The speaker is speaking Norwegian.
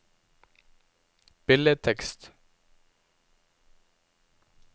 billedtekst